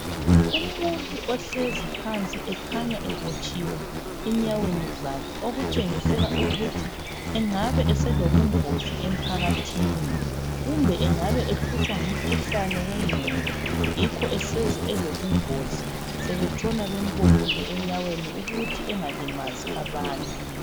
umuntu ohlezi phansi ekhanya ebotshiwe enyaweni zakhe okutshengisela ukuthi engabe eselobungozi emphakathini kumbe engabe ehlutshwa ngumkhuhlane wenqondo yikho eseze eselobungozi sebetshena bembophile enyaweni ukuthi engalimazi abantu